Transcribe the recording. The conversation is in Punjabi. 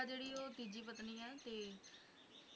ਭੇਜਿਆ ਸੀ ਤੇ